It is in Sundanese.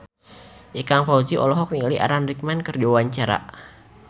Ikang Fawzi olohok ningali Alan Rickman keur diwawancara